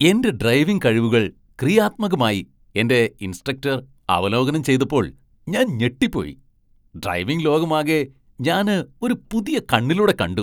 എന്റെ ഡ്രൈവിംഗ് കഴിവുകൾ ക്രിയാത്മകമായി എന്റെ ഇൻസ്ട്രക്ടർ അവലോകനം ചെയ്തപ്പോൾ ഞാൻ ഞെട്ടിപ്പോയി. ഡ്രൈവിംഗ് ലോകമാകെ ഞാന് ഒരു പുതിയ കണ്ണിലൂടെ കണ്ടു.